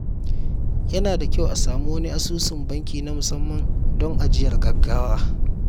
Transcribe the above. Yana da kyau a samu wani asusun banki na musamman don ajiyar gaggawa.